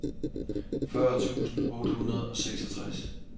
fyrre tusind otte hundrede og seksogtres